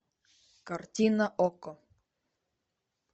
картина окко